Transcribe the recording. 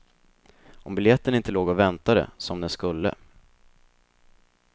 Om biljetten inte låg och väntade, som den skulle.